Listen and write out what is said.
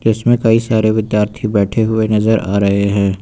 इसमें कई सारे विद्यार्थी बैठे हुए नजर आ रहे हैं।